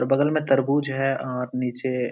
बगल में तरबूज है और नीचे --